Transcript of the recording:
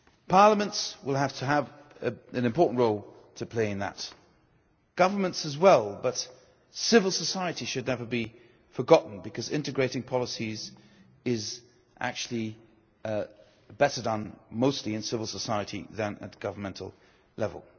Parliaments will have to have an important role to play in that, and governments as well, but civil society should never be forgotten, because integrating policies is actually better done mostly in civil society than at governmental level.